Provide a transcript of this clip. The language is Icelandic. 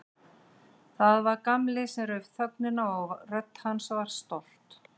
Það var Gamli sem rauf þögnina og rödd hans var stolt.